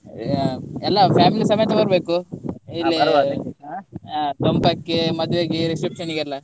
ಎಲ್ಲ family ಸಮೇತ ಬರ್ಬೇಕು ದೊಂಪಕ್ಕೆ ಮದ್ವೆಗೆ reception ಗೆ ಎಲ್ಲ.